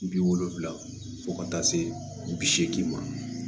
Bi wolonfila fɔ ka taa se bi seegin ma